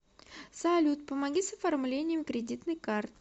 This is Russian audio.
салют помоги с оформлением кредитной карты